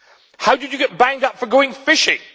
How did you get banged up for going fishing?